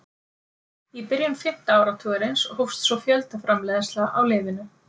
í byrjun fimmta áratugarins hófst svo fjöldaframleiðsla á lyfinu